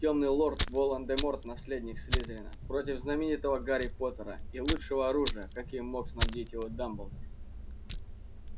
тёмный лорд волан-де-морт наследник слизерина против знаменитого гарри поттера и лучшего оружия каким мог снабдить его дамблдор